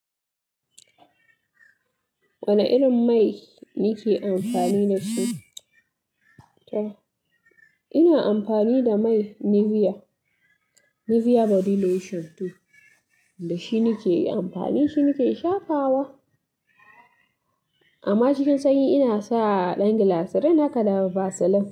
Wane irin mai nike amfani da shi? Ina amfani da mai Nivea, Nivea body To dashi nike amfani, shi nike shafa wa. Amma cikin sanyi ina sa ɗan gilasirin haka da vaseline.